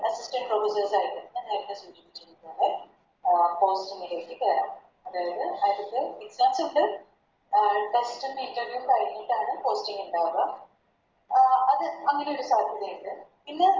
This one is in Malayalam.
പിന്നെ Assistant professor ആയിട്ട് അഹ് അതായത് വ്യത്യസണ്ട് അഹ് First ത്തന്നെ Interview കഴിഞ്ഞിട്ടാണ് Posting ഇണ്ടാവുക അത് അങ്ങനെയൊരു സാധ്യത ഇണ്ട്